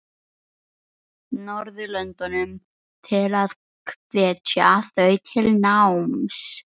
Norðurlöndunum til að hvetja þau til náms?